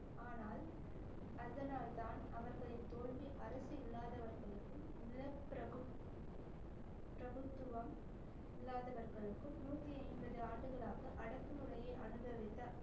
ஆனால் அதனால்தான் அவர்களின் தோல்வி அரசு இல்லாதவர்களுக்கும் நிலப்பிரபு~ பிரபுத்துவம் இல்லாதவர்களுக்கும் நூற்றி ஐம்பது ஆண்டுகளாக அடக்குமுறையை அனுபவித்த